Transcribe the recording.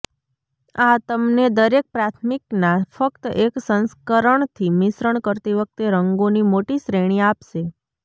આ તમને દરેક પ્રાથમિકના ફક્ત એક સંસ્કરણથી મિશ્રણ કરતી વખતે રંગોની મોટી શ્રેણી આપશે